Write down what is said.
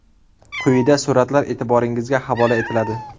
Quyida suratlar e’tiboringizga havola etiladi.